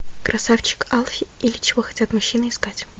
красавчик алфи или чего хотят мужчины искать